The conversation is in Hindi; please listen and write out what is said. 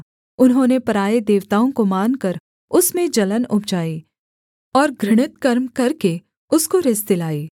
उन्होंने पराए देवताओं को मानकर उसमें जलन उपजाई और घृणित कर्म करके उसको रिस दिलाई